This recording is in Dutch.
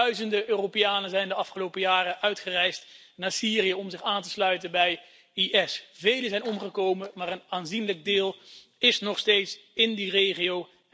Duizenden Europeanen zijn de afgelopen jaren uitgereisd naar Syrië om zich aan te sluiten bij IS. Velen zijn omgekomen, maar een aanzienlijk deel is nog steeds in die regio.